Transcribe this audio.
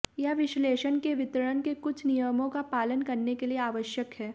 यह विश्लेषण के वितरण के कुछ नियमों का पालन करने के लिए आवश्यक है